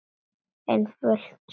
Einföld sál.